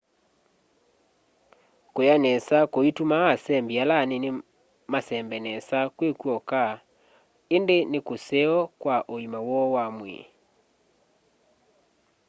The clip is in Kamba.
kula nesa kuitumaa asembi ala anini masembe nesa kwi kwoka indi ni kuseo kwa uima woo wa mwii